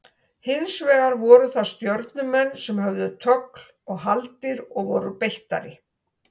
Hins vegar voru það Stjörnumenn sem höfðu tögl og haldir og voru beittari.